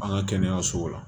An ka kɛnɛyasow la